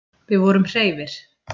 Við vorum hreifir.